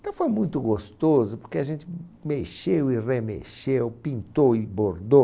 Então foi muito gostoso, porque a gente mexeu e remexeu, pintou e bordou.